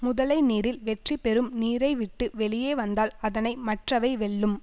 முதலை நீரில் வெற்றி பெறும் நீரைவிட்டு வெளியே வந்தால் அதனை மற்றவை வெல்லும்